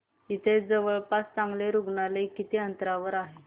इथे जवळपास चांगलं रुग्णालय किती अंतरावर आहे